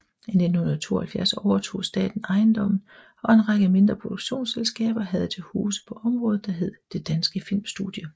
I 1972 overtog staten ejendommen og en række mindre produktionsselskaber havde til huse på området der hed Det Danske Filmstudie